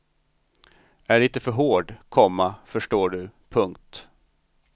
Är lite för hård, komma förstår du. punkt